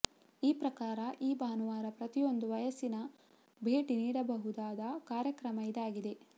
ಈ ಪ್ರಕಾರ ಈ ಭಾನುವಾರ ಪ್ರತಿಯೊಂದು ವಯಸ್ಸಿನರೂ ಭೇಟಿ ನೀಡಬಹುದಾದ ಕಾರ್ಯಕ್ರಮ ಇದಾಗಿದೆ